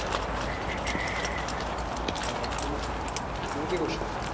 আর তুমি, তুমি কি করছো?